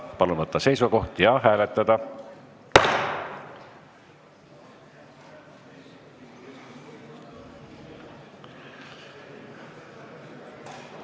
Palun võtta seisukoht ja hääletada!